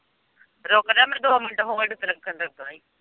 ਰੁੱਕ ਜਾ ਮੈਨੂੰ ਦੋ ਮਿੰਟ ਹੋਲਡ ਤੇ ਰੱਖਣ ਤਾਂ ਦੇਣਾ ਹੀ।